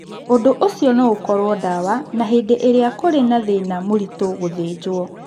Ũndũ ũcio no ũkorũo ndawa, na hĩndĩ ĩrĩa kũrĩ na thĩĩna mũritũ, gũthĩnjwo.